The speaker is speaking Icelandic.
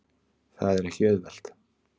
Það er ekki auðvelt.